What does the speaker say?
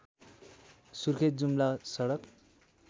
सुर्खेत जुम्ला सडक